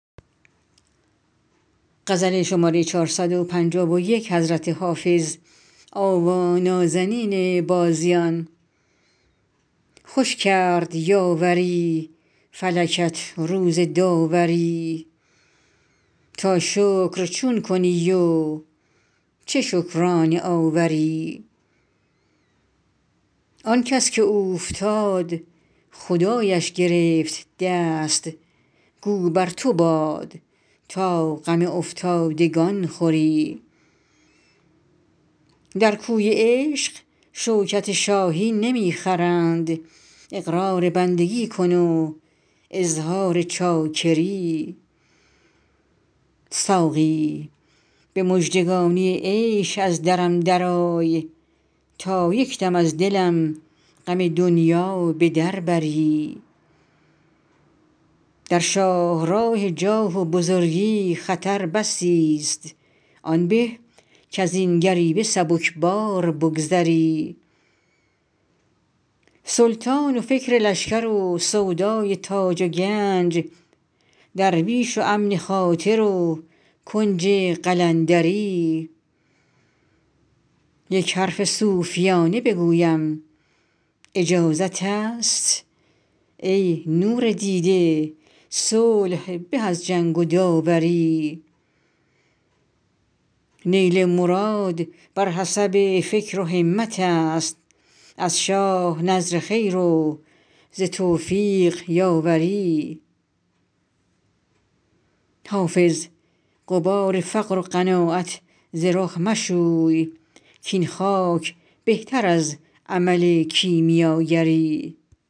خوش کرد یاوری فلکت روز داوری تا شکر چون کنی و چه شکرانه آوری آن کس که اوفتاد خدایش گرفت دست گو بر تو باد تا غم افتادگان خوری در کوی عشق شوکت شاهی نمی خرند اقرار بندگی کن و اظهار چاکری ساقی به مژدگانی عیش از درم درآی تا یک دم از دلم غم دنیا به در بری در شاه راه جاه و بزرگی خطر بسی ست آن به کز این گریوه سبک بار بگذری سلطان و فکر لشکر و سودای تاج و گنج درویش و امن خاطر و کنج قلندری یک حرف صوفیانه بگویم اجازت است ای نور دیده صلح به از جنگ و داوری نیل مراد بر حسب فکر و همت است از شاه نذر خیر و ز توفیق یاوری حافظ غبار فقر و قناعت ز رخ مشوی کاین خاک بهتر از عمل کیمیاگری